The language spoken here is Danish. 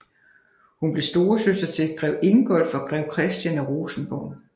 Hun blev storesøster til grev Ingolf og grev Christian af Rosenborg